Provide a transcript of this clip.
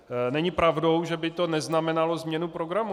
Není pravdou, že by to neznamenalo změnu programu.